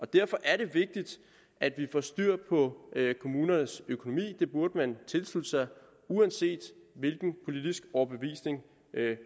derfor er det vigtigt at vi får styr på kommunernes økonomi det burde man tilslutte sig uanset hvilken politisk overbevisning